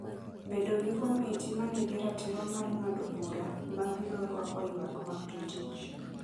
Bedo gi komiti ma nigi ratiro mar ng'ado bura ma biro rwako ywak mag jotich